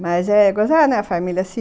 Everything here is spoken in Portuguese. Mas eh a família se